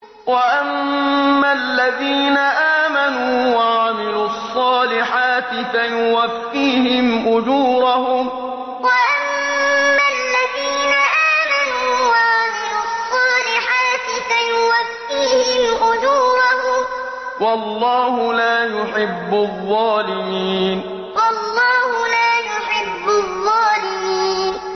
وَأَمَّا الَّذِينَ آمَنُوا وَعَمِلُوا الصَّالِحَاتِ فَيُوَفِّيهِمْ أُجُورَهُمْ ۗ وَاللَّهُ لَا يُحِبُّ الظَّالِمِينَ وَأَمَّا الَّذِينَ آمَنُوا وَعَمِلُوا الصَّالِحَاتِ فَيُوَفِّيهِمْ أُجُورَهُمْ ۗ وَاللَّهُ لَا يُحِبُّ الظَّالِمِينَ